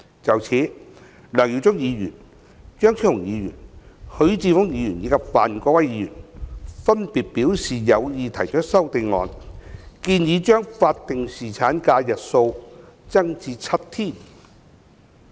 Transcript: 就此，梁耀忠議員、張超雄議員、許智峯議員及范國威議員，分別表示有意提出修正案，建議將法定侍產假日數增加至7天。